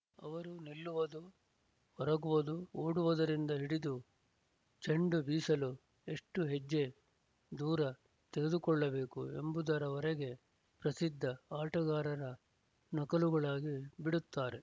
ಅವರು ನಿಲ್ಲುವುದು ಒರಗುವುದು ಓಡುವುದರಿಂದ ಹಿಡಿದು ಚೆಂಡು ಬೀಸಲು ಎಷ್ಟು ಹೆಜ್ಜೆ ದೂರ ತೆಗೆದುಕೊಳ್ಳಬೇಕು ಎಂಬುದರವರೆಗೆ ಪ್ರಸಿದ್ಧ ಆಟಗಾರರ ನಕಲುಗಳಾಗಿ ಬಿಡುತ್ತಾರೆ